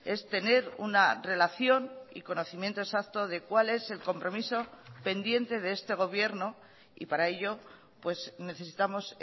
es tener una relación y conocimiento exacto de cuál es el compromiso pendiente de este gobierno y para ello necesitamos